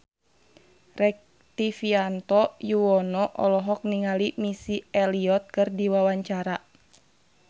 Rektivianto Yoewono olohok ningali Missy Elliott keur diwawancara